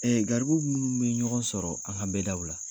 garibu minnu be ɲɔgɔn sɔrɔ an ka bɛdaw la